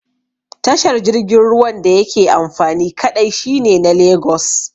Tashar jirgin ruwan da yake amfani kaɗai shine na Lagos